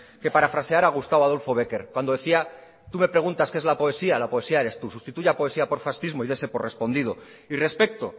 que parafrasear a gustavo adolfo bécquer cuando decía tú me preguntas qué es la poesía la poesíaeres tú sustituya poesía por fascismo y dese por respondido y respecto